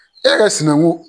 E ka sinaŋun